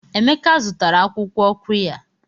Emeka zụtara akwukwo qirya.